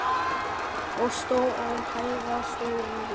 Og stór orð hæfa stóru lífi.